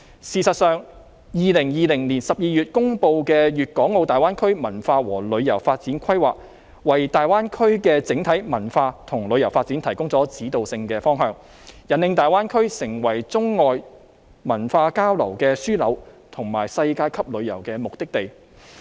事實上 ，2020 年12月公布的《粵港澳大灣區文化和旅遊發展規劃》，為大灣區的整體文化和旅遊發展提供了指導性方向，引領大灣區成為中外文化交流的樞紐，以及世界級旅遊的目的地。